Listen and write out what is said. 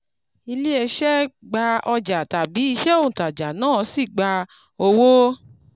ilé iṣẹ̀ gba ọjà tabi iṣẹ́ ontajà náà sì gba owó